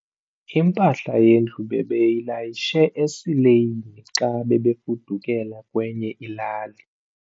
Impahla yendlu bebeyilayishe esileyini xa bebefudukela kwenye ilali.